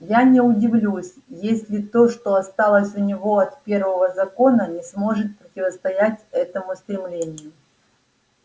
я не удивлюсь если то что осталось у него от первого закона не сможет противостоять этому стремлению